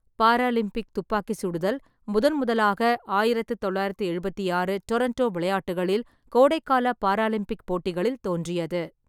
Paralympic துப்பாக்கி சுடுதல் முதன்முதலாக ஆயிரத்து தொள்ளாயிரத்து எழுபத்தி ஆறு டோரன்டோ விளையாட்டுகளில் கோடைக்கால பாராலிம்பிக் போட்டிகளில் தோன்றியது.